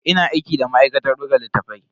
Ina aiki da ma'aikatar buga littatafai.